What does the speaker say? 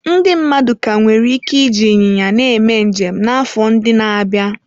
Ndị mmadụ ka nwere ike iji ịnyịnya na-eme njem n'afọ ndị na-abịa.